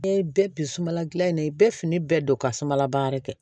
N'i ye bɛɛ bi sunbala gilan in na i bɛ fini bɛɛ don ka sumala baara kɛ